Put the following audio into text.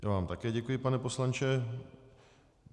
Já vám také děkuji, pane poslanče.